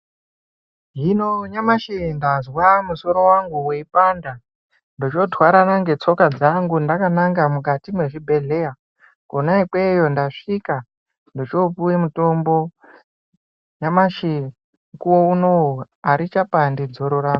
Hino nyamashi ndazwa musoro wangu weipanda, ndochootwarana ngetsoka dzangu ndakananga mukati mwezvibhedheya. Kona ikweyo ndasvika ndochoopuwe mutombo. Nyamashi mukuwo unowu, arichapandi dzoro rangu.